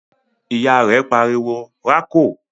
Ìyá rẹ̀ pariwo "rákò!"